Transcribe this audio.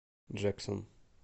джексон